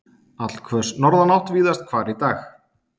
Allhvöss norðanátt víðast hvar í dag